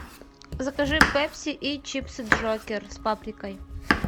закажи пепси и чипсы джокер с паприкой